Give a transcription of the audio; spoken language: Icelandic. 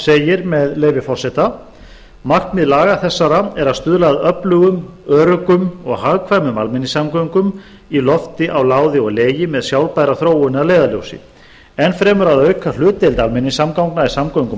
segir með leyfi forseta markmið laga þessara er að stuðla að öflugum öruggum og hagkvæmum almenningssamgöngum í lofti á láði og legi með sjálfbæra þróun að leiðarljósi enn fremur að auka hlutdeild almenningssamgangna í samgöngum